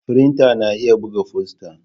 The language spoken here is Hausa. Firinta na iya buga fosta.